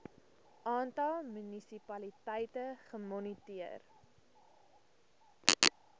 aantal munisipaliteite gemoniteer